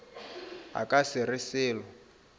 a ka se re selo